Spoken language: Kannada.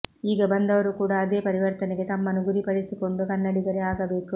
ಈಗ ಬಂದವರೂ ಕೂಡ ಅದೇ ಪರಿವರ್ತನೆಗೆ ತಮ್ಮನ್ನು ಗುರಿಪಡಿಸಿಕೊಂಡು ಕನ್ನಡಿಗರೇ ಆಗಬೇಕು